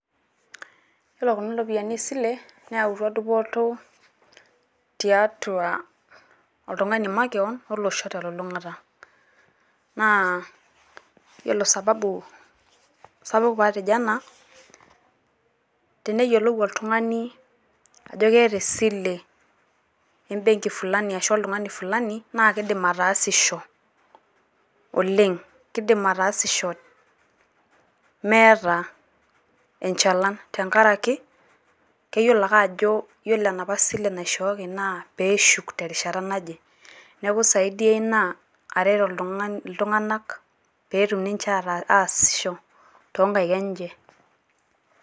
Yiolo kuna ropiyiani e sile neyawutua dupoto tiatua oltung`ani makewon o losho te lulung`ata. Naa yiolo sababu sapuk pee atejo ena teneyiolou oltung`ani ajo keeta esile e mbenki fulani ashu o oltung`ani fulani naa keidiim ataasisho oleng. Kidim ataasisho ,eeta enchalan tenkaraki keyiolo ake ajo yiolo enapa sile naishooki naa pee eshuk terishata naje. Niaku esaidia ina aret oltung`ani, iltung`anak pee etum ninche ataasisho too nkaik enche.